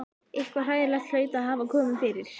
Eitthvað hræðilegt hlaut að hafa komið fyrir.